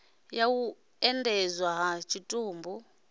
ya u endedzwa ha tshitumbu